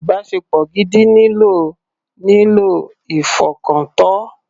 Ìbáṣepọ̀ gidi nílò nílò ìfọkàntọ́.